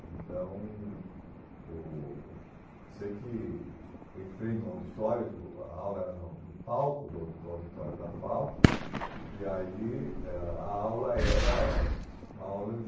Então, o eu sei que entrei no auditório, eu digo, a aula era no no palco do do auditório da FAU, e aí ãh a aula era uma aula de